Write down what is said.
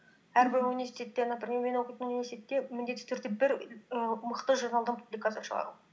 әрбір университетте например мен оқитын университетте міндетті түрде бір ііі мықты журналдан публикация шығару